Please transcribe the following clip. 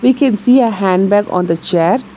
We can see a handbag on the chair.